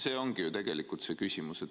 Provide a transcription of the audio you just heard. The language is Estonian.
See ongi ju tegelikult see küsimus.